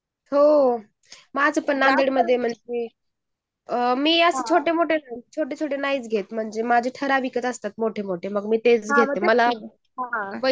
हो माझं पण नांदेड मध्ये वगैरे. माझे मी छोटे छोटे नाहीच घेते माझे मोठे च घेते मी